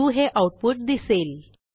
true हे output दिसेल